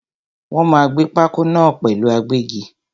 Wọ́n máa gbé pákó náà pẹ̀lú agbẹ́gi.